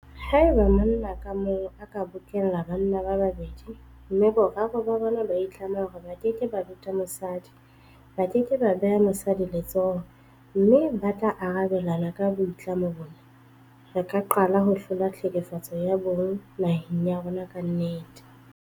Haeba monna ka mong a ka bokella banna ba babedi mme boraro ba bona ba itlama hore ba keke ba beta mosadi, ba ke ke ba beha mosadi letsoho mme ba tla arabelana ka boitlamo bona, re ka qala ho hlola tlhekefetso ya bong naheng ya rona ka nnete.